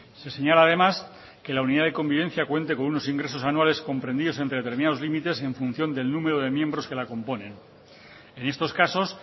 se señala además que la unidad de convivencia cuente con unos ingresos anuales comprendidos entre determinados límites en función del número de miembros que la componen en estos casos